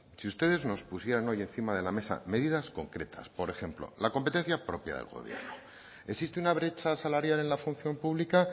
si ustedes nos pusieran hoy encima de la mesa medidas concretas por ejemplo la competencia propia del gobierno existe una brecha salarial en la función pública